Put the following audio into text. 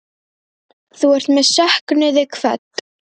Þú ert með söknuði kvödd.